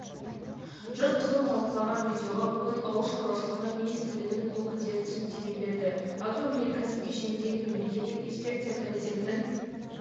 жұрт қызу талқылаған видеоға бүгін ауыл шаруашылығы министрлігінің өкілдері түсініктеме берді агроөнеркәсіп кешеніндегі мемлекеттік инспекция комитетінің